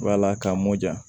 Wala k'a mɔja